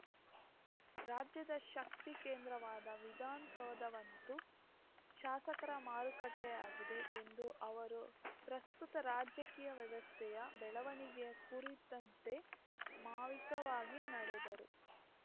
ರಾಜ್ಯದ ಶಕ್ತಿ ಕೇಂದ್ರವಾದ ವಿಧಾನಸೌಧವಂತೂ ಶಾಸಕರ ಮಾರುಕಟ್ಟೆಯಾಗಿದೆ ಎಂದು ಅವರು ಪ್ರಸ್ತುತ ರಾಜಕೀಯ ವ್ಯವಸ್ಥೆ ಬೆಳವಣಿಗೆಯ ಕುರಿತಂತೆ ಮಾವಿಕವಾಗಿ ನಡೆದರು